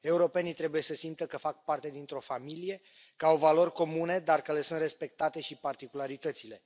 Europenii trebuie să simtă că fac parte dintr o familie, ca au valori comune, dar care le sunt respectate și particularitățile.